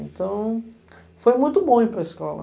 Então, foi muito bom ir para a escola.